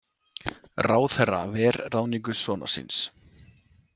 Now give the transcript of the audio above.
Ráðherra ver ráðningu sonar síns